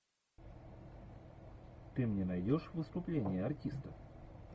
ты мне найдешь выступление артиста